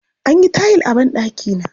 An yi tayil a banɗakina.